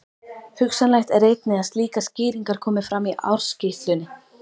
Hugsanlegt er einnig að slíkar skýringar komi fram í ársskýrslunni.